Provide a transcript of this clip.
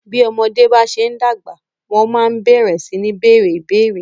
Bí ọmọ bá ṣe ń dàgbà, wọ́n máa ń bẹ̀rẹ sí ní bèèrè ìbéérè.